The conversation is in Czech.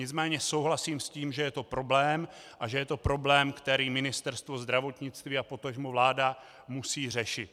Nicméně souhlasím s tím, že je to problém a že je to problém, který Ministerstvo zdravotnictví a potažmo vláda musí řešit.